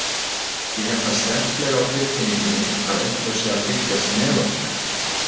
Ég hef það sterklega á tilfinningunni að einhver sé að fylgjast með okkur.